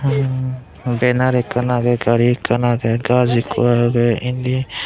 banner ekkan agey gari ekkan agey gach ekko agey indi.